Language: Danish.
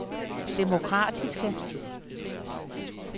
demokratiske